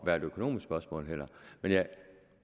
være et økonomisk spørgsmål men